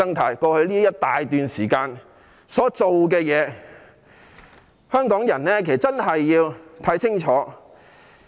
他們在過去一大段時間所做的事情，香港人真的要看清楚。